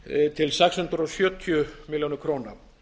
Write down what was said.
til sex hundruð sjötíu milljónum króna